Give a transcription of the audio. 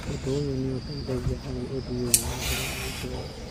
Ũndũ ũyũ nĩ ũteithagia harĩ ũthiĩ wa na mbere wa itũũra.